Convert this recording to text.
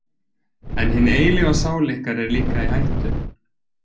En hin eilífa sál ykkar er líka í hættu.